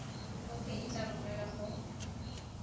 khopi e tla romelwa go